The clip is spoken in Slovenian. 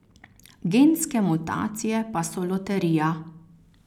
Genske mutacije pa so loterija.